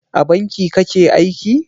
A banki kake aiki?